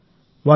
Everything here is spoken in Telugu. అవును